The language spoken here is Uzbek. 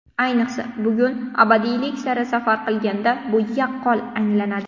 Ayniqsa, bugun, abadiylik sari safar qilganda bu yaqqol anglanadi.